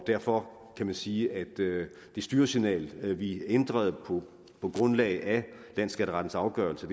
derfor kan man sige at det styresignal vi ændrede på grundlag af landsskatterettens afgørelse